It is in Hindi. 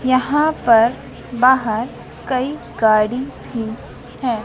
यहां पर बाहर कई गाड़ी भी है।